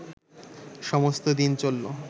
সমস্ত দিন চলল